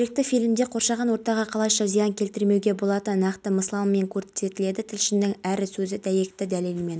маусым дейін герцен көшесі дүйсембаев электр желілерінен ажыратылады елордалық арбатта көлемі метрлік экраны орнатылды президенті түрік